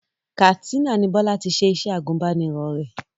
Katsina ni Bọ́lá ti ṣe iṣẹ́ agùbánirọ̀ rẹ̀